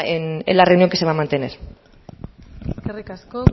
en la reunión que se va a mantener eskerrik asko